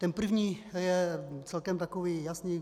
Ten první je celkem takový jasný.